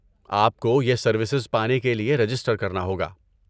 آپ کو یہ سروسز پانے کے لیے رجسٹر کرنا ہوگا۔